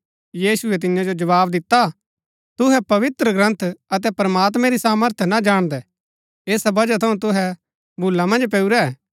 यीशुऐ तियां जो जवाव दिता तुहै पवित्रग्रन्थ अतै प्रमात्मैं री सामर्थ ना जाणदै ऐसा वजह थऊँ तुहै भूला मन्ज पैऊरै